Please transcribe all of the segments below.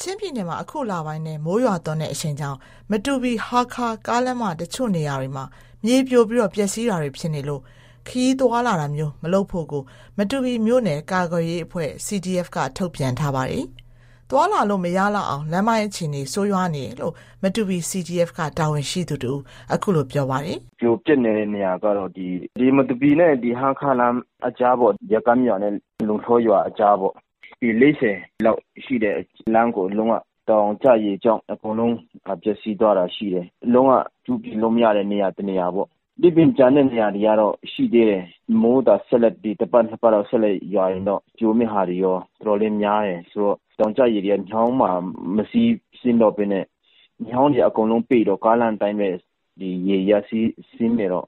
ချင်းပြည်နယ်မှာ အခုလပိုင်းထဲ မိုးရွာသွန်းတဲ့ အရှိန်ကြောင့် မတူပီ-ဟားခါး ကားလမ်းမ တချို့နေရာတွေမှာ မြေပြိုပြီး ပျက်စီးတာတွေ ဖြစ်နေလို့ ခရီးသွားလာတာမျိုး မလုပ်ဖို့ကို မတူပီမြို့နယ် ကာကွယ်ရေးအဖွဲ့ (CDF) က ထုတ်ပြန်ထားပါတယ်။ သွားလာလို့ မရလောက်အောင် လမ်းပိုင်းအခြေအနေ ဆိုးရွားနေတယ်လို့ မတူပီ CDF တာဝန်ရှိသူ တဦးက အခုလို ပြောပါတယ်။ "ပြိုပျက်နေတဲ့ နေရာကတော့ မတူပီနဲ့ ဟားခါးလမ်း အကြားပေါ့။ ဇကမ်းရွာနဲ့ လုံလှော်ရွာ အကြားပေါ့။ ပေ ၄၀ လောက်ရှိတဲ့လမ်းကို တောင်ကျရေကြောင့် အကုန်လုံး ပျက်စီးသွားတာရှိတယ်။ လုံးဝ ပြုပြင်လို့မရတဲ့ နေရာ တနေရာပေါ့။ ဒီပြင် ကျန်တဲ့နေရာတွေကတော့ ရှိသေးတယ်။ မိုးသာ တပတ်၊ နှစ်ပတ်လောက် ဆက်ရွာရင်တော့ ပြိုမယ့်ဟာတွေ တော်တော်လေးများတယ်။ ဆိုတော့ တောင်ကျရေတွေက မြောင်းမှာ မစီးဆင်းတော့ဘဲနဲ့ မြောင်းတွေ အကုန်လုံးပိတ်တော့ ကားလမ်းအတိုင်းပဲ ရေတွေက စီးဆင်းနေတော့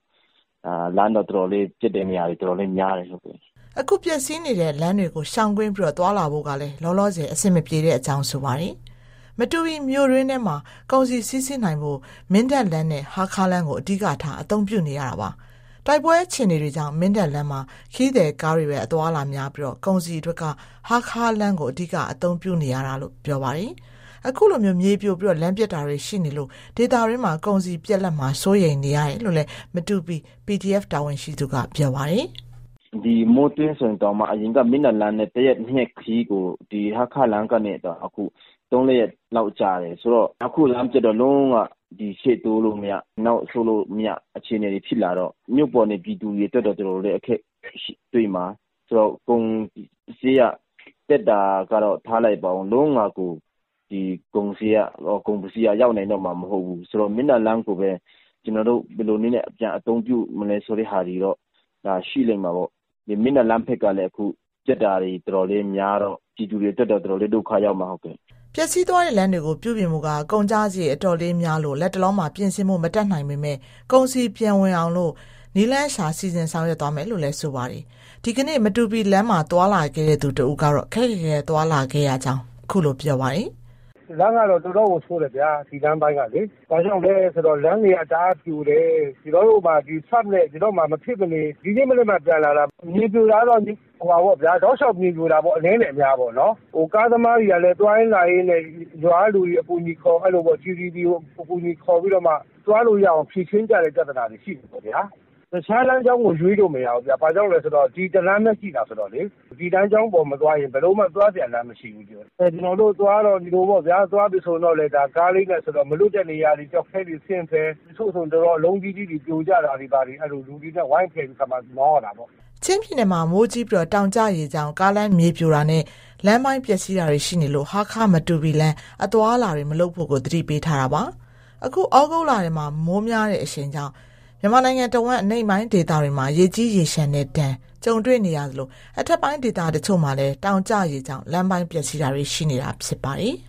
လမ်းက ပျက်တဲ့နေရာတွေ တော်တော်လေးများတယ်။" အခုပျက်စီးနေတဲ့ လမ်းတွေကို ရှောင်ကွင်းပြီး သွားလာဖို့ကလည်း လောလောဆယ် အဆင်မပြေတဲ့အကြောင်း ပြောပါတယ်။ မတူပီမြို့တွင်းထဲ ကုန်စည်စီးဆင်းနိုင်ဖို့က မင်းတပ်လမ်းနဲ့ ဟားခါးလမ်းကို အဓိကထား အသုံးပြုနေရတာပါ။ တိုက်ပွဲ အခြေအနေတွေကြောင့် မင်းတပ်လမ်းမှာ ခရီးသည်ကားတွေပဲ အသွားအလာများပြီး၊ ကုန်စည်အတွက်က ဟားခါးလမ်းကို အဓိက အသုံးပြုနေရတာလို့ ပြောပါတယ်။ အခုလို မြေပြိုပြီး၊ လမ်းပျက်တာတွေ ရှိနေလို့ ဒေသတွင်း ကုန်စည်ပြတ်လပ်မှာကို စိုးရိမ်ရတယ်လို့ မတူပီ CDF တာဝန်ရှိသူက ပြောပါတယ်။ "မိုးတွင်းဆိုရင် အရင်က မင်းတပ်လမ်းနဲ့ ၁ ရက် ၂ရက် ခရီးကို အခု ဟားခါးလမ်းကနေ ၃-၄ ရက်လောက် ကြာတယ်။ အခု လမ်းပျက်တော့ ရှေ့တိုးမရ၊ နောက်ဆုတ်မရ အခြေအနေတွေ ဖြစ်လာတော့ မြို့ပေါ်နေ ပြည်သူတွေအတွက်က တော်တော်လေး အခက်တွေ့မှာ။ ကုန်စျေးနှုန်းက တက်တာကတော့ ထားလိုက်ပါဦး။ အခုက ကုန်ပစ္စည်းက လုံးဝကို ရောက်နိုင်တော့မှာ မဟုတ်ဘူးဆိုတော့ မင်းတပ်လမ်းကိုပဲ ကျနော်တို့ ဘယ်လိုနည်းနဲ့ ပြန်အသုံးပြုမလဲ ဆိုတာတော့ ရှိလိမ့်မှာပေါ့။ မင်းတပ်လမ်းဘက်ကလည်း အခုပျက်တာတွေ တော်တော်လေးများတော့ ပြည်သူတွေအတွက်က တော်တော်လေး ဒုက္ခရောက်မှာ။" ပျက်စီးသွားတဲ့ လမ်းတွေကို ပြုပြင်ဖို့က ကုန်ကျစရိတ် အတော်လေးများလို့ လတ်တလောမှာ ပြင်ဆင်ဖို့ မတတ်နိုင်ပေမဲ့ ကုန်စည် ပြန်ဝင်နိုင်အောင် နည်းလမ်းရှာ စီစဉ်ဆောင်ရွက်သွားမယ်လို့လည်း ပြောပါတယ်။ ဒီကနေ့ မတူပီလမ်းမှာ သွားလာခဲ့သူ တဦးကတော့ ခက်ခက်ခဲခဲ သွားလာခဲ့ရတယ်လို့ ပြောပါတယ်။ "လမ်းကတော့ တော်တော်ကို ဆိုးတယ်ဗျာ၊ ဒီလမ်းပိုင်းကလေ။ ဘာကြောင့်လဲဆိုတော့ လမ်းတွေက တအားပြိုတယ်။ ကျနော်တို့ဆို မဖြစ်မနေသွားရတော့ ဒီနေ့မနက်မှ ပြန်လာတာ။ မြေပြိုတာကတော့ အနည်းနဲ့အများ တောက်လျှောက်ပြိုတာ။ ကားသမားတွေကလည်း သွားလာရင်းနဲ့ ရွာကလူတွေ အကူအညီခေါ်ပြီး သွားလို့ရအောင် ဖြေရှင်းကြရတဲ့ ပြဿနာတွေ ရှိတယ်ပေါ့ဗျာ။ တခြားလမ်းကြောင်းကို ရွေးလို့မရဘူးဗျ။ ဘာကြောင့်လဲဆိုတော့ ဒီတလမ်းပဲရှိတာ ဆိုတော့လေ။ ဒီလမ်းကြောင်းပေါ် မသွားရင် ဘယ်လိုမှ သွားစရာလမ်း မရှိဘူး။ ကျနော်တို့ သွားတုန်းက မလွတ်တဲ့နေရာတွေ ကျောက်ခဲတွေဆင်းဖယ်၊ တချို့ဆို ကျောက်ခဲအလုံးကြီးကြီး ပြိုကျတာတွေကို လူတွေနဲ့ ဝိုင်းဖယ်ပြီးခါမှ မောင်းရတာပေါ့။" ချင်းပြည်နယ်မှာ မိုးကြီးပြီး တောင်ကျရေကြောင့် ကားလမ်းမြေပြိုတာနဲ့ လမ်းပိုင်းပျက်စီးတာတွေ ရှိနေလို့ ဟားခါး-မတူပီလမ်း အသွားအလာတွေ မလုပ်ဖို့ကို သတိပေးထားတာပါ။ အခု ဩဂုတ်လထဲ မိုးများတဲ့ အရှိန်ကြောင့် မြန်မာနိုင်ငံတဝန်း အနိမ့်ပိုင်းဒေသတွေမှာ ရေကြီးရေလျှံတဲ့ဒဏ် ကြုံတွေ့နေရသလို၊ အထက်ပိုင်းဒေသ တချို့မှာလည်း တောင်ကျရေကြောင့် လမ်းပိုင်းပျက်စီးတာတွေ ရှိနေတာ ဖြစ်ပါတယ်။